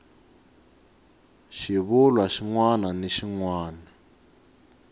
xivulwa xin wana ni xin